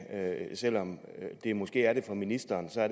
selv om det måske er det for ministeren er